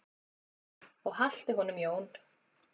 Og haltu honum Jón.